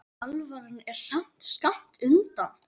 en alvaran er samt skammt undan.